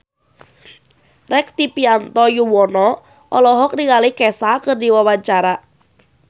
Rektivianto Yoewono olohok ningali Kesha keur diwawancara